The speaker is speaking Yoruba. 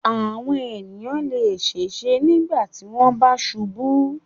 Àwọn ènìyàn le ṣèṣe nígbà tí wọ́n bá ṣubú.